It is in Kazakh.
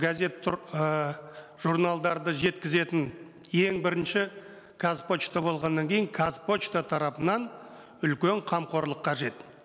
газет ііі журналдарды жеткізетін ең бірінші қазпошта болғаннан кейін қазпошта тарапынан үлкен қамқорлық қажет